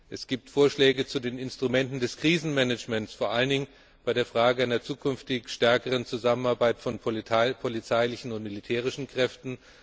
Es gibt Vorschläge zu den Instrumenten des Krisenmanagements, vor allen Dingen zu der Frage einer zukünftig stärkeren Zusammenarbeit von polizeilichen und militärischen Kräften.